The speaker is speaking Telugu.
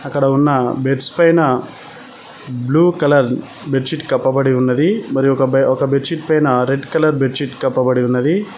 అక్కడ ఉన్న బెడ్స్ పైన బ్లూ కలర్ బెడ్ షీట్ కప్పబడి ఉన్నది మరి ఒక బెడ్ షీట్ పైన రెడ్ కలర్ బెడ్ షీట్ కప్పబడి ఉన్నది.